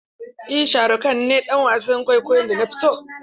Eh sharukh khan ne dan wasan kwaikwayon da nafi so.